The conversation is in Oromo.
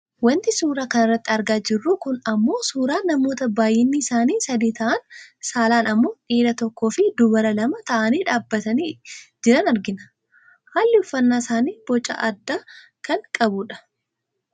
Wanti suuraa kanarratti argaa jirru kun ammoo suuraa namoota baayyinni isaanii sadi ta'an saalaan ammoo dhiira tokkoofi dubara lama ta'anii dhaabbatanii jiran argina . Haalli uffannaa isaanii boca addaa kan qabudha.